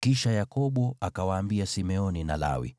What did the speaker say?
Kisha Yakobo akawaambia Simeoni na Lawi,